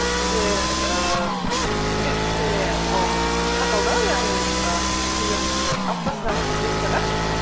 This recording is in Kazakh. ііі бізде кішкене ол қатал да яғни і күнделікті аптасына қырық бес сағат